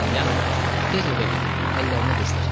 Yanko, tez evə get, əllərini qızdır.